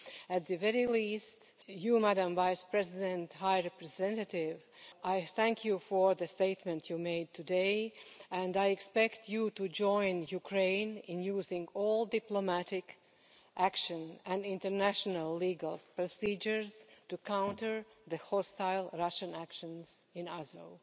At the very least, you, Madam Vice President High Representative, I thank you for the statement you made today and I expect you to join Ukraine in using all diplomatic action and international legal procedures to counter the hostile Russian actions in Oslo.